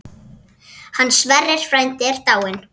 Hann Sverrir frændi er dáinn.